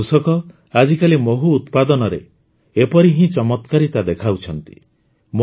ଆମର କୃଷକ ଆଜିକାଲି ମହୁ ଉତ୍ପାଦନରେ ଏପରି ହିଁ ଚମତ୍କାରିତା ଦେଖାଉଛନ୍ତି